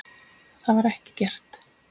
Það var ekki gert.